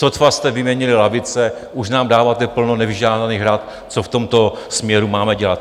Sotva jste vyměnili lavice, už nám dáváte plno nevyžádaných rad, co v tomto směru máme dělat.